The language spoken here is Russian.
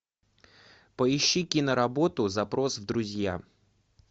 поищи киноработу запрос в друзья